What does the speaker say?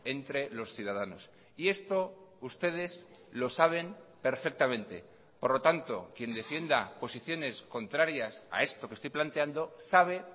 entre los ciudadanos y esto ustedes lo saben perfectamente por lo tanto quien defienda posiciones contrarias a esto que estoy planteando sabe